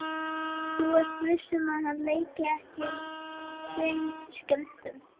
Þú ert viss um að hann leiki ekki tveim skjöldum?